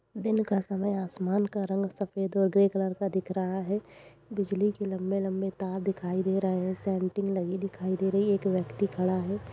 दिन का समय आसमान है रंग सफ़ेद और ग्रे कलर का दिख रहा है बिजली के लंबे-लंबे तार दिखाई दे रहे हैं लगी दिखाई दे रही एक व्यक्ति खड़ा है।